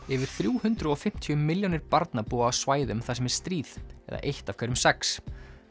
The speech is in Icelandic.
yfir þrjú hundruð og fimmtíu milljónir barna búa á svæðum þar sem er stríð eða eitt af hverjum sex